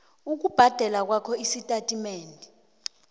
ukubhadela kwakho estatimendeni